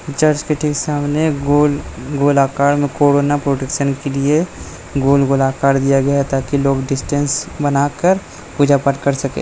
Church के ठीक सामने गोल गोल आकार मे कोरोना प्रोटेक्शन के लिए गोल गोल आकार दिया गया है ताकि लोग डिस्टन्स बना कर पूजा पाठ कर सके।